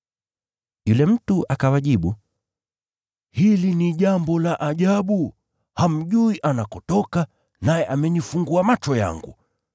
Yule mtu akawajibu, “Hili ni jambo la ajabu! Hamjui anakotoka, naye amenifungua macho yangu!